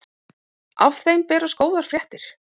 Af þeim berast góðar fréttir.